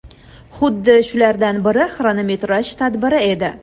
Xuddi shulardan biri xronometraj tadbiri edi.